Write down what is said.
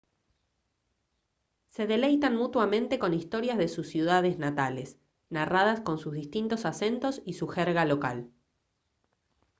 se deleitan mutuamente con historias de sus ciudades natales narradas con sus distintos acentos y su jerga local